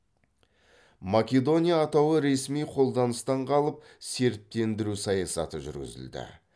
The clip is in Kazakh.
македония атауы ресми қолданыстан қалып сербтендіру саясаты жүргізілді